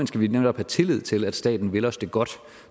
skal vi netop have tillid til at staten vil os det godt